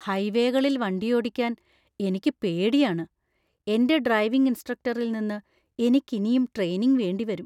ഹൈവേകളിൽ വണ്ടിയോടിക്കാന്‍ എനിക്ക് പേടിയാണ്, എന്‍റെ ഡ്രൈവിംഗ് ഇൻസ്ട്രക്ടറിൽ നിന്ന് എനിക്കിനിയും ട്രെയിനിംഗ് വേണ്ടിവരും.